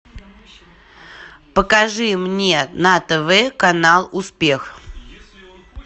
покажи мне на тв канал успех